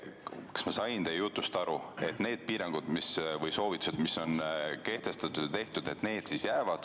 Kas ma sain teie jutust õigesti aru, et need piirangud, mis on kehtestatud, ja soovitused, mis on tehtud, piirduvad sellega?